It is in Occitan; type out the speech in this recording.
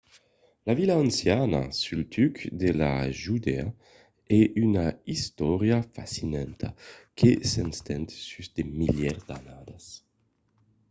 la vila anciana suls tucs de judèa a una istòria fascinanta que s'estend sus de milièrs d'annadas